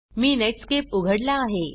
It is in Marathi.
मी नेटस्केप उघडला आहे